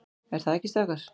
ER ÞAÐ EKKI, STRÁKAR?